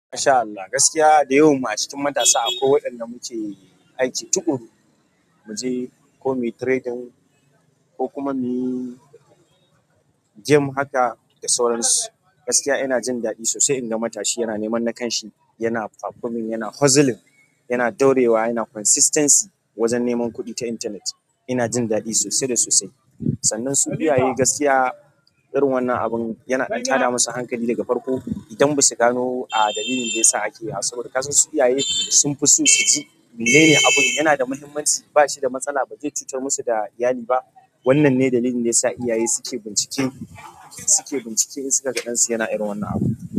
Masha Allah, gaskiya da yawan mu a cikin matasa a kwai waɗanda muke aiki tuƙuru, muje ko muyi trading ko kuma muyi game haka da sauransu. Gaskiya yana jin daɗi sosai. Inga matashi yana neman na kan shi, yana performing, yana hustling, yana daurewa, yana consistency wajen neman kuɗi ta intanet. Ina jin daɗi sosai da sosai. Sannan su iyaye, gaskiya irin wannan abin yana ɗan tada masu hankali daga farko idan basu gano a dalilin ɗaya sa ake. Saboda kasan su iyaye sun fi so suji menene abun, yanada muhimmanci, ba shi da matsala, ba zai cutar masu da iyali ba? Wannan ne dalilin ɗaya sa iyaye suke bincike, suke bincike in suka ga ɗansu yana irin wannan abun.